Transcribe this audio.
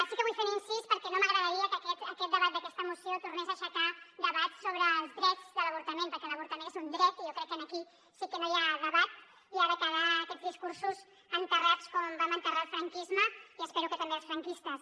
sí que vull fer un incís perquè no m’agradaria que aquest debat d’aquesta moció tornés a aixecar debats sobre els drets de l’avortament perquè l’avortament és un dret i jo crec que aquí sí que no hi ha debat i han de quedar aquests discursos en·terrats com vam enterrar el franquisme i espero que també els franquistes